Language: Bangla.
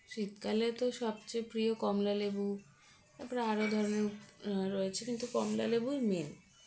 শীতকালে তো সবচেয়ে প্রিয় কমলালেবু তারপর আরো ধরনের আ রয়েছে কিন্তু কমলালেবুই main